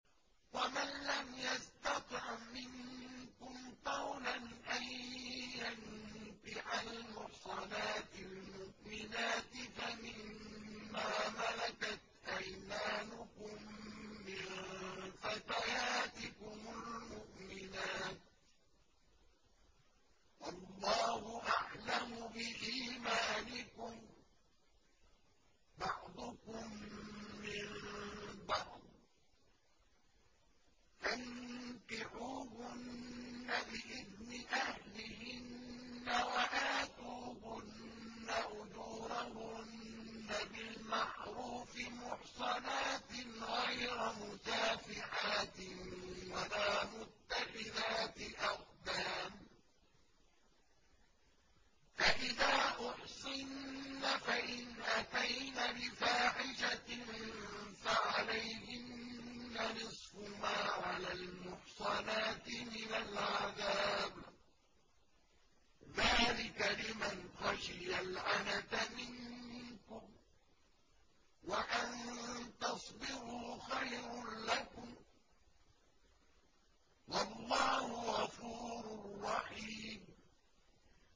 وَمَن لَّمْ يَسْتَطِعْ مِنكُمْ طَوْلًا أَن يَنكِحَ الْمُحْصَنَاتِ الْمُؤْمِنَاتِ فَمِن مَّا مَلَكَتْ أَيْمَانُكُم مِّن فَتَيَاتِكُمُ الْمُؤْمِنَاتِ ۚ وَاللَّهُ أَعْلَمُ بِإِيمَانِكُم ۚ بَعْضُكُم مِّن بَعْضٍ ۚ فَانكِحُوهُنَّ بِإِذْنِ أَهْلِهِنَّ وَآتُوهُنَّ أُجُورَهُنَّ بِالْمَعْرُوفِ مُحْصَنَاتٍ غَيْرَ مُسَافِحَاتٍ وَلَا مُتَّخِذَاتِ أَخْدَانٍ ۚ فَإِذَا أُحْصِنَّ فَإِنْ أَتَيْنَ بِفَاحِشَةٍ فَعَلَيْهِنَّ نِصْفُ مَا عَلَى الْمُحْصَنَاتِ مِنَ الْعَذَابِ ۚ ذَٰلِكَ لِمَنْ خَشِيَ الْعَنَتَ مِنكُمْ ۚ وَأَن تَصْبِرُوا خَيْرٌ لَّكُمْ ۗ وَاللَّهُ غَفُورٌ رَّحِيمٌ